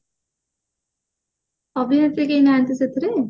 ଅଭିନେତ୍ରୀ କେହି ନାହାନ୍ତି ସେଥିରେ